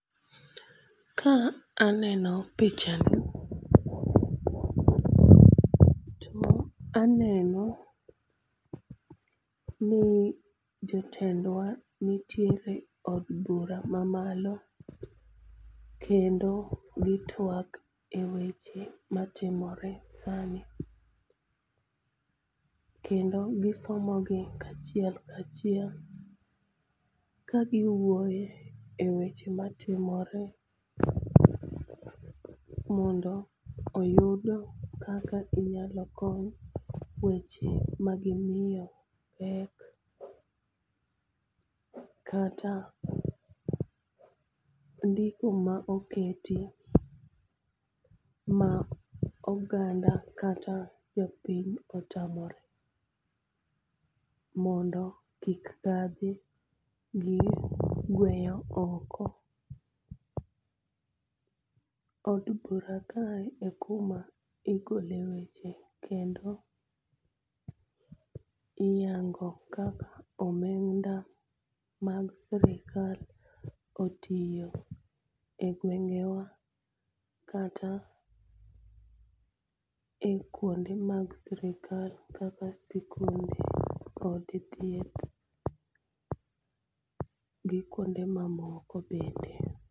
Ka aneno pichani to aneno ni jotendwa nitiere e od bura mamalo kendo gitwak e weche matimore sani, kendo gisomogi kachiel kachiel ka giwuoyo e weche matimore mondo oyud kaka inyalo kony weche ma gimiyo pek kata ndiko ma oketi ma oganda kata jopiny otamore mondo kik kadhi gi gweyo oko. Od bura kae e kuma igole weche kendo iyango kaka omenda mag sirikal otiyo e gwengewa kata kwonde mag sirikal kaka sikunde, od thieth gi kwonde mamoko bende.